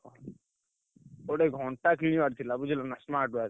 ଗୋଟେ ଘଣ୍ଟା କିଣିବାର ଥିଲା ବୁଝିଲନା smartwatch ।